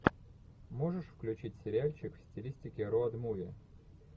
можешь включить сериальчик в стилистике роуд муви